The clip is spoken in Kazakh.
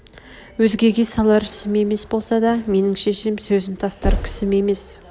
өзгеге салар ісім емес болса да менің шешем сөзін тастар кісім емес